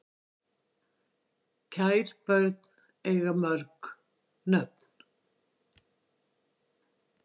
Kær börn eiga mörg nöfn